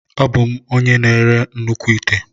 Abụ m onye na-ere nnukwu ite.